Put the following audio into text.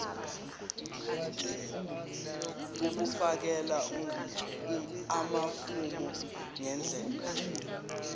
ukufakela amafomu ngendlela